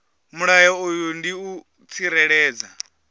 mulayo uyu ndi u tsireledza